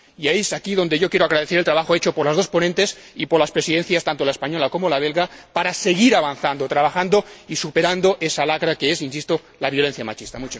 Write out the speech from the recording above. Y es aquí donde yo quiero agradecer el trabajo hecho por las dos ponentes y por las Presidencias, tanto la española como la belga, para seguir avanzando, trabajando y superando esa lacra que es, insisto, la violencia machista.